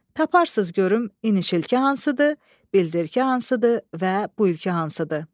Taparsız görüm inişilki hansıdır, bildirki hansıdır və bu ilki hansıdır.